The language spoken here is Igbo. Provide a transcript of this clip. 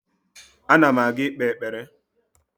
Ana m aga ikpe ekpere